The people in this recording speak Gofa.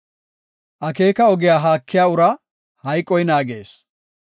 Akeeka ogiya haakiya uraa hayqoy naagees.